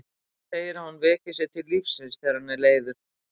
Hann segir að hún veki sig til lífsins þegar hann er leiður.